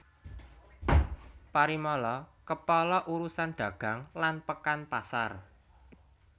Parimala Kepala urusan dagang lan pekan pasar